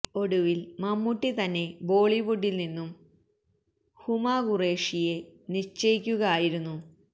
ഒടുവിൽ മമ്മൂട്ടി തന്നെ ബോളിവുഡിൽ നിന്നും ഹുമ ഖുറേഷിയെ നിശ്ചയിക്കുക ആയിരുന്നു